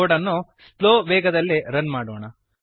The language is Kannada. ಕೋಡ್ ಅನ್ನು ಸ್ಲೋ ನಿಧಾನವಾದ ವೇಗದಲ್ಲಿ ರನ್ ಮಾಡೋಣ